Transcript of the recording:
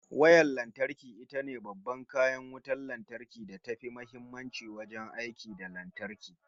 Wayar lantarki itace babban kayan wutan lantarki da tafi muhimmanci wajen aiki da lantarki